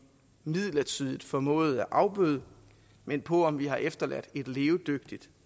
midlertidigt formåede at afbøde men på om vi har efterladt et levedygtigt